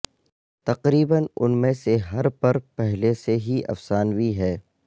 تقریبا ان میں سے ہر پر پہلے سے ہی افسانوی ہے